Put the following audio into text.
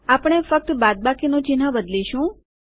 આપણે ફક્ત બાદબાકીનું ચિહ્ન બદલઈશું